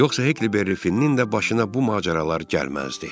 Yoxsa Heckleberry Finnin də başına bu macəralar gəlməzdi.